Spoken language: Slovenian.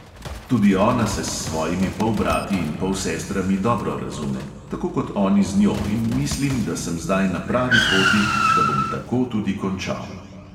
Tudi ona se s svojimi polbrati in polsestrami dobro razume, tako kot oni z njo, in mislim, da sem zdaj na pravi poti, da bom tako tudi končal.